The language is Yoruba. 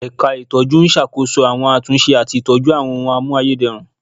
Ẹ̀ka itọju ń ṣàkóso àwọn àtúnṣe àti ìtọ́jú àwọn ohùn a mú ayédèrú